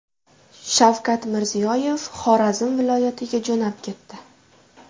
Shavkat Mirziyoyev Xorazm viloyatiga jo‘nab ketdi.